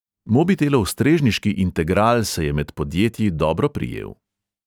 Mobitelov strežniški integral se je med podjetji dobro prijel.